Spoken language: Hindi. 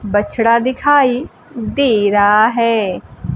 बछड़ा दिखाई दे रहा है।